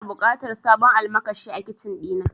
Ina buƙatar sabon almakashi a Kicin ɗina.